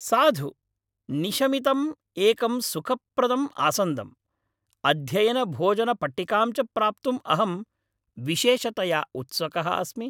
साधु निशमितम् एकं सुखप्रदं आसन्दं, अध्ययनभोजनपट्टिकां च प्राप्तुम् अहम् विशेषतया उत्सुकः अस्मि।